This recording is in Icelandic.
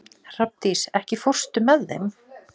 Hrafndís, ekki fórstu með þeim?